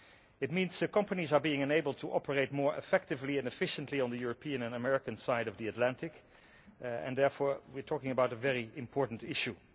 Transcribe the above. It means companies are being enabled to operate more effectively and efficiently on the European and American side of the Atlantic, and therefore we are talking about a very important issue.